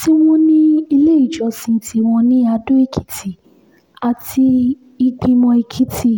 tí wọ́n sì ní iléèjọsìn tiwọn ní ado-ekìtì àti ìgbìmọ̀-ẹ́kìtì